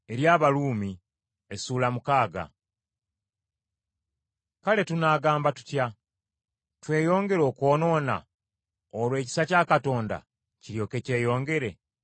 Kale tunaagamba tutya? Tweyongere okwonoona, olwo ekisa kya Katonda kiryoke kyeyongere?